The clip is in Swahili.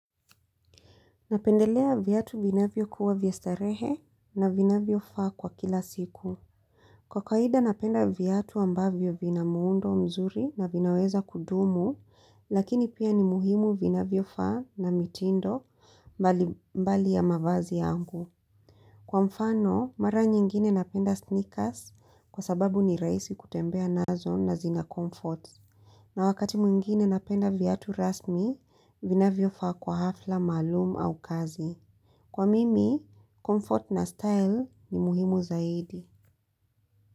Napendelea viatu vinavyokua vya starehe na vinavyo faa kwa kila siku Kwa kawaida napenda viatu ambavyo vina muundo mzuri na vinaweza kudumu lakini pia ni muhimu vinavyo faa na mitindo mbali mbali ya mavazi yangu. Kwa mfano, mara nyingine napenda sneakers kwa sababu ni rahisi kutembea nazo na zina comfort. Na wakati mwingine napenda viatu rasmi, vinavyo faa kwa hafla malumu au kazi. Kwa mimi, comfort na style ni muhimu zaidi.